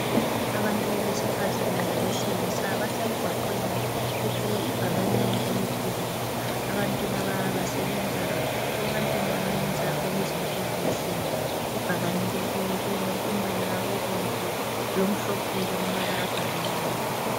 Abantu besifazane labesilisa basemgwaqweni bethwele ibhakane elikhulu, abantu laba basebenza ebantwini abayenza okwezempilakahle, ibhakane leli lilombala obomvu lomhlophe lamabala abhaliweyo.